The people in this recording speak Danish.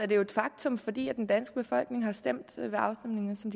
et faktum fordi den danske befolkning har stemt ved afstemninger som